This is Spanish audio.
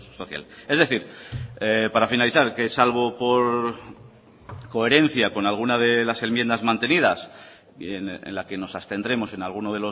social es decir para finalizar que salvo por coherencia con alguna de las enmiendas mantenidas en la que nos abstendremos en alguno